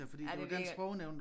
Ja det virker